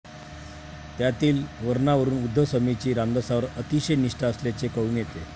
त्यातील वर्णनावरून उद्धव स्वामींची रामदासांवर अतिशय निष्ठा असल्याचे कळून येते.